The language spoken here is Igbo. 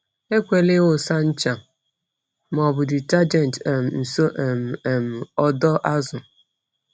Ekwela ịwụsa ncha ma ọ bụ detergent um nso um um ọdọ azụ.